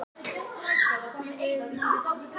Viggó: Og hvernig líst þér á þessi herlegheit?